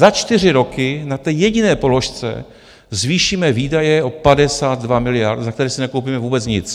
Za čtyři roky na té jediné položce zvýšíme výdaje o 52 miliard, za které si nekoupíme vůbec nic.